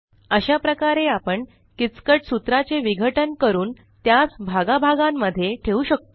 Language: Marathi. अशा प्रकारे आपण किचकट सूत्रा चे विघटन करून त्यास भागा भागां मध्ये ठेवू शकतो